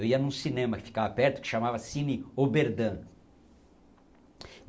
Eu ia num cinema que ficava perto, que chamava Cine Oberdan.